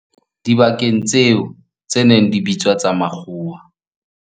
dibakeng tseo tse neng di bitswa tsa makgowa.